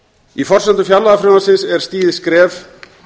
í forsendum fjárlagafrumvarpsins er stigið skref